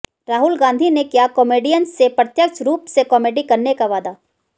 राहुल गाँधी ने किया कॉमेडियंस से प्रत्यक्ष रूप से कॉमेडी करने का वायदा